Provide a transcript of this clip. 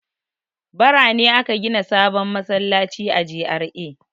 Bara ne aka gina sabon masallaci a GRA.